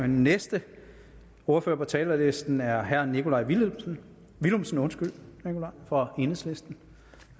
den næste ordfører på talerlisten er herre nikolaj villumsen villumsen fra enhedslisten